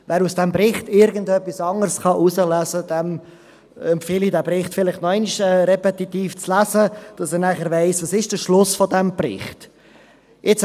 Wer aus diesem Bericht irgendetwas anderes herauslesen kann, dem empfehle ich, diesen Bericht vielleicht noch einmal repetitiv zu lesen, damit er nachher weiss, was der Schluss dieses Berichts ist.